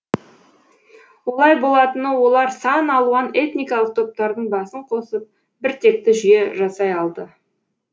олай болатыны олар сан алуан этникалық топтардың басын қосып біртекті жүйе жасай алды